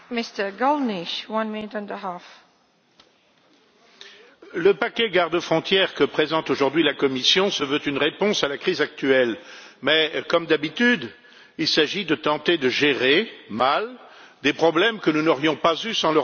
Madame la Présidente, le paquet gardes frontières que présente aujourd'hui la Commission se veut une réponse à la crise actuelle, mais comme d'habitude, il s'agit de tenter de mal gérer des problèmes que nous n'aurions pas eus sans l'Europe de Bruxelles.